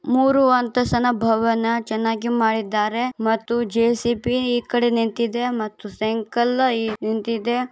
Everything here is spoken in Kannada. ಮೂರು ಅಂತಸನ ಭವನ ಚೆನ್ನಾಗಿ ಮಾಡಿದ್ದಾರೆ ಮತ್ತು ಜೆ.ಸಿ.ಬಿ ಈ ಕಡೆ ನಿಂತಿದೆ ಮತ್ತು ಸೈಕಲ್ಲು ನಿಂತಿದೆ.